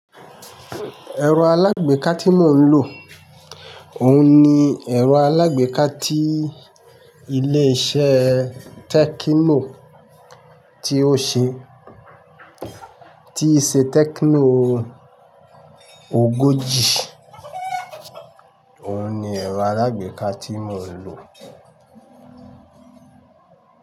Ẹ̀rọ alágbèéká tí mò ń lò, òun ni ẹ̀rọ alágbèéká tí ilé iṣẹ́ Tẹ́kínoò tí ó ṣe, tí i se Tẹ́kínoò ogójì, òun ni ẹ̀rọ alágbèéká tí mò ń lò.